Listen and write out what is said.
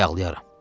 ayaqlayaram.